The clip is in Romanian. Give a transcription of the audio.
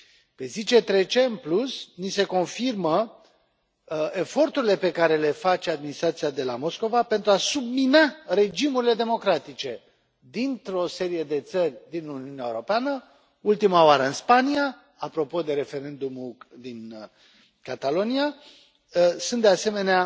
Pe zi ce trece, în plus, ni se confirmă eforturile pe care le face administrația de la Moscova pentru a submina regimurile democratice dintr o serie de țări din Uniunea Europeană, ultima oară în Spania, apropo de referendumul din Catalonia, dar sunt de asemenea